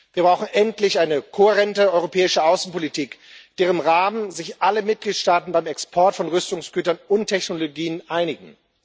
Wir brauchen endlich eine kohärente europäische Außenpolitik, in deren Rahmen sich alle Mitgliedstaaten beim Export von Rüstungsgütern und technologien einigen.